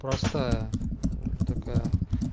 просто такая